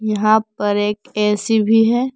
यहां पर एक ए_सी भी है।